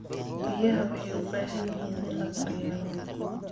Biyaha waxay u baahan yihiin in la daryeelo.